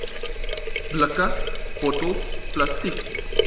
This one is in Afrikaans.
blikke bottels plastiek